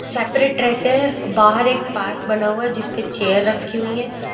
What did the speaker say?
Separate रहते हैं और बाहर एक पार्क बना हुआ है जिसपे चेयर रखी हुई हैं।